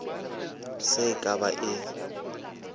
se e ka ba e